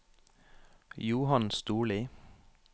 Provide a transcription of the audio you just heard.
Johann Storli